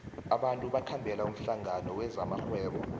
abantu bakhambela umhlangano wezamarhwebo